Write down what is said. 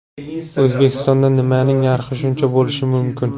O‘zbekistonda nimaning narxi shuncha bo‘lishi mumkin?